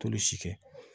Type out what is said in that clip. Tulu si kɛ